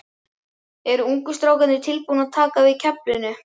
Eru ungu strákarnir tilbúnir að taka við keflinu?